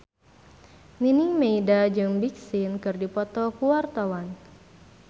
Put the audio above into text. Nining Meida jeung Big Sean keur dipoto ku wartawan